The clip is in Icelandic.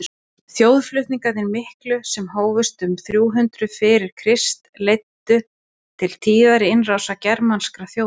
þjóðflutningarnir miklu sem hófust um þrjú hundruð fyrir krist leiddu til tíðra innrása germanskra þjóða